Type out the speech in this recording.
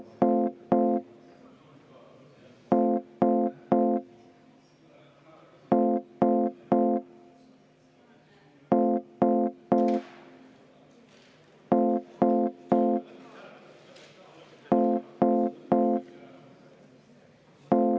Tänan, austatud aseesimees!